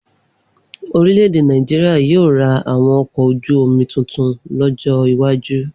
Orílẹ̀ èdè Nàìjíríà yóò ra àwọn ọkọ̀ ojú-omi tuntun lọ́jọ́ iwájú